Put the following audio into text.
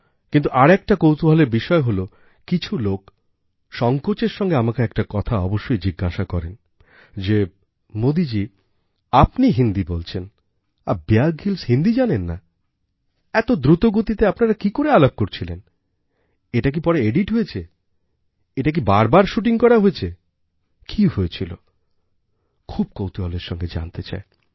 কিন্তু আরেকটাকৌতুহলের বিষয় হলো কিছু লোক সংকোচের সাথে আমাকে একটা কথা অবশ্যই জিজ্ঞাসা করেন যে মোদিজী আপনি হিন্দি বলছেন আর বিয়ার গ্রিলস হিন্দি জানেন না এত দ্রুতগতিতে আপনারা কি করে আলাপ করছিলেন এটা কি পরে এডিট হয়েছে এটা কি বার বার শুটিং করা হয়েছেকি হয়েছিল খুব কৌতুহলের সঙ্গে জানতে চায়